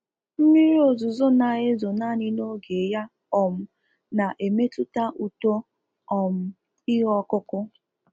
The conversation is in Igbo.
Mmiri ozuzo na-ezo nanị n'oge ya um na-emetụta uto um ihe ọkụkụ